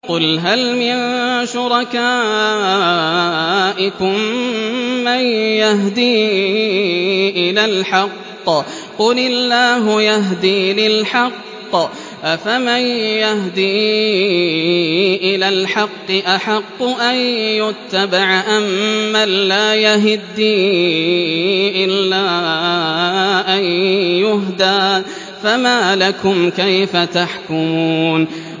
قُلْ هَلْ مِن شُرَكَائِكُم مَّن يَهْدِي إِلَى الْحَقِّ ۚ قُلِ اللَّهُ يَهْدِي لِلْحَقِّ ۗ أَفَمَن يَهْدِي إِلَى الْحَقِّ أَحَقُّ أَن يُتَّبَعَ أَمَّن لَّا يَهِدِّي إِلَّا أَن يُهْدَىٰ ۖ فَمَا لَكُمْ كَيْفَ تَحْكُمُونَ